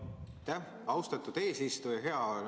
Aitäh, austatud eesistuja!